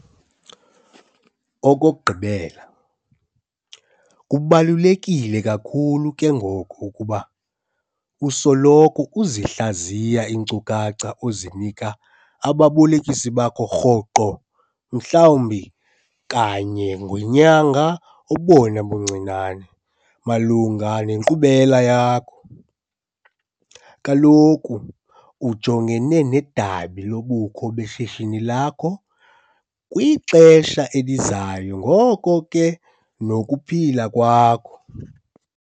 Okokugqibela, kubaluleke kakhulu ke ngoko ukuba usoloko uzihlaziya iinkcukacha ozinika ababolekisi bakho rhoqo, mhlawumbi kanye ngenyanga obona buncinane, malunga nenkqubela yakho. Kaloku ujongene nedabi lobukho beshishini lakho kwixesha elizayo ngoko ke nokuphila kwakho.